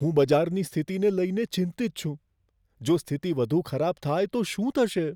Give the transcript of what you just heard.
હું બજારની સ્થિતિને લઈને ચિંતિત છું. જો સ્થિતિ વધુ ખરાબ થાય તો શું થશે?